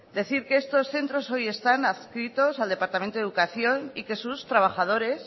decir que estos centros hoy están adscritos al departamento de educación y que sus trabajadores